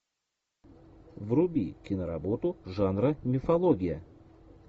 вруби киноработу жанра мифология